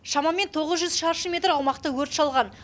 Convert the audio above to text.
шамамен тоғыз жүз шаршы метр аумақты өрт шалған